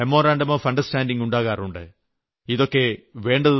ധാരാളം മോ ഉണ്ടാകാറുണ്ട്